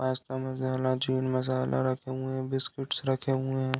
Pasta masala chicken रखे हुए हैं। बिस्किट्स रखे हुए हैं।